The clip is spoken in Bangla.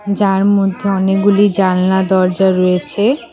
যার মধ্যে অনেকগুলি জানলা দরজা রয়েছে।